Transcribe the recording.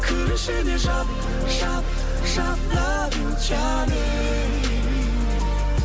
кір ішіне жап жап жап лав ю джаним